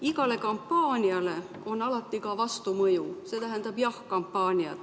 Igale kampaaniale on alati ka vastumõju, see tähendab jah‑kampaania.